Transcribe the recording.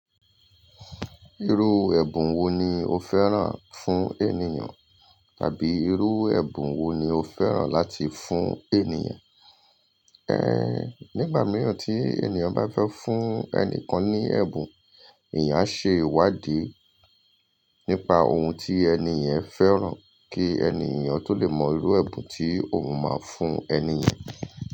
Irú ẹ̀bùn wo ni o fẹ́ràn fún ènìyàn? Tàbí irú ẹ̀bùn wo ni o fẹ́ràn láti fún ènìyàn? Nígbà mìíràn tí ènìyàn bá fẹ́ fún ẹnìkan ní ẹ̀bùn, èeyan a ṣe ìwádìí nípa ohun tí ènì yen fẹ́ràn kí ènìyàn tó lè mọ irú ẹ̀bùn tí òun máa fún ènì yen.